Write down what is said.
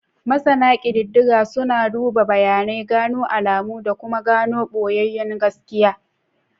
Masana kididdiga suna duba bayanai, gano alamu da kuma gano boyayyun gaskiya.